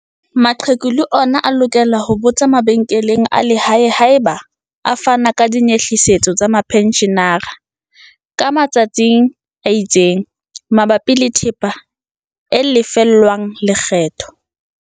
Maqheku le ona a lokela ho botsa mabenkeleng a lehae haeba a fana ka dinyehlisetso tsa mapentjhenara, ka matsa tsi a itseng, mabapi le thepa e lefellwang lekgetho.